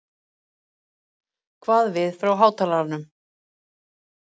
kvað við frá hátalaranum.